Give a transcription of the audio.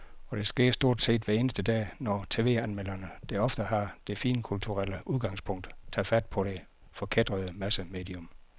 Og det sker stort set hver eneste dag, når tv-anmelderne, der ofte har det finkulturelle udgangspunkt, tager fat på det forkætrede massemedium.